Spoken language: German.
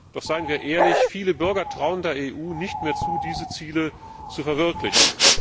Doch seien wir ehrlich Viele Bürger trauen der EU nicht mehr zu, diese Ziele zu verwirklichen.